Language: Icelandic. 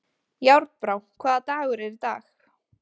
Járnbrá, hvaða dagur er í dag?